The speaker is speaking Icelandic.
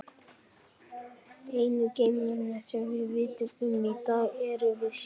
Einu geimverurnar sem við vitum um í dag erum við sjálf.